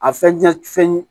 A fɛn